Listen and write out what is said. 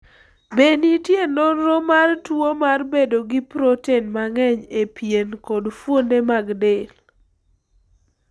Be nitie nonro mar tuwo mar bedo gi proten mang'eny e pien kod fuonde mag del?